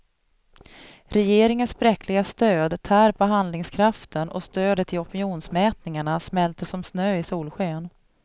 Regeringens bräckliga stöd tär på handlingskraften och stödet i opinionsmätningarna smälter som snö i solsken.